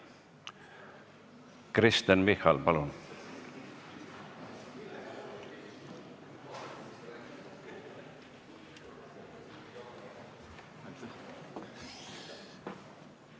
Kristen Michal, palun!